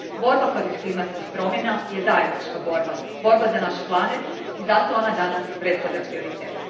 Borba protiv klimatskih promjena je zajednička borba, borba za naš planet i zato ona danas predstavlja prioritet.